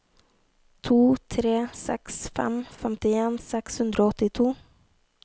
to tre seks fem femtien seks hundre og åttito